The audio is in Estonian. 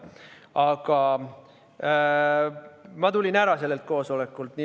Aga ma tulin ära sellelt koosolekult.